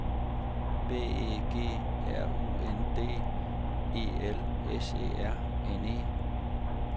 B E G R U N D E L S E R N E